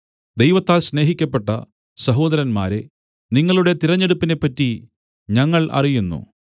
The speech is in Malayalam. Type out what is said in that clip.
ദൈവത്താൽ സ്നേഹിക്കപ്പെട്ട സഹോദരന്മാരേ നിങ്ങളുടെ തിരഞ്ഞെടുപ്പിനെ പറ്റി ഞങ്ങൾ അറിയുന്നു